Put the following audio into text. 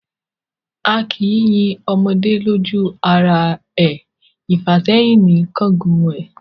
A kì í yin ọmọdé lójú ara e, ìfàsẹ́hìn ní ń kángun ẹ̀.